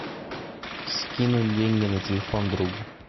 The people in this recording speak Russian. скинуть деньги на телефон другу